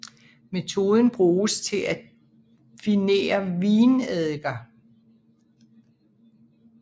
Metoden bruges til de finere vineddiker